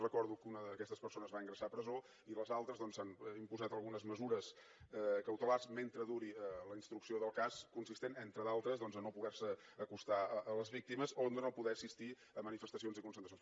recordo que una d’aquestes persones va ingressar a presó i a les altres doncs s’han imposat algunes mesures cautelars mentre duri la instrucció del cas consistents entre d’altres doncs a no poder se acostar a les víctimes o a no poder assistir a manifestacions i concentracions